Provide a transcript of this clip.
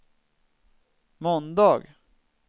måndag